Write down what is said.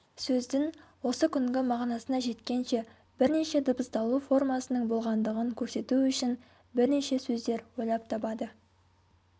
сөздің осы күнгі мағынасына жеткенше бірнеше дыбысталу формасының болғандығын көрсету үшін бірнеше сөздер ойлап табады